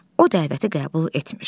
O dəvəti qəbul etmiş.